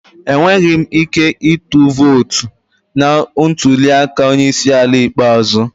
Enweghị m ike ịtụ vootu na ntuli aka onye isi ala ikpeazụ.